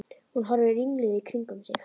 Hún horfir ringluð í kringum sig.